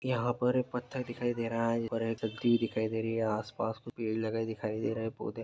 यहाँ पर एक पत्थर दिखाई दे रहा है दिखाई दे रही है आस -पास पेड़ लगे दिखाई दे रही हैं और पौधे --